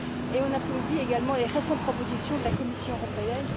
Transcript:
Et on applaudit également les récentes propositions de la Commission européenne.